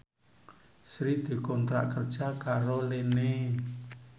Sri dikontrak kerja karo Line